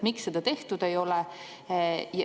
Miks seda tehtud ei ole?